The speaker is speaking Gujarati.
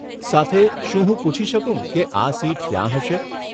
સાથે, શું હું પૂછી શકું કે આ સીટ ક્યાં હશે?